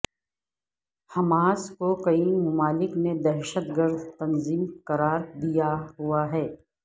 Hamas کو کئی ممالک نے دہشت گرد تنظیم قرار دیا ہوا ہے